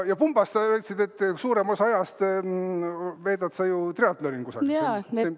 Ja pumba puhul sa väitsid, et suurema osa ajast veedad sa ju triatlonil kusagil.